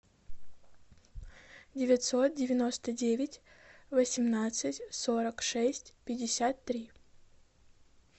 девятьсот девяносто девять восемнадцать сорок шесть пятьдесят три